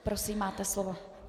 Prosím, máte slovo.